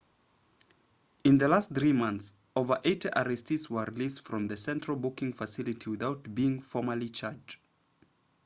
in the last 3 months over 80 arrestees were released from the central booking facility without being formally charged